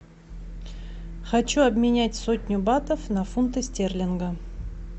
хочу обменять сотню батов на фунты стерлинга